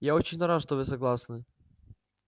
я очень рад что вы согласны